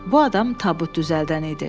Bu adam tabut düzəldən idi.